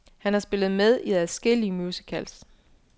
Han har spillet med i adskillige musicals.